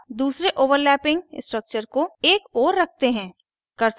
अब दूसरे overlapping structure को एक ओर रखते हैं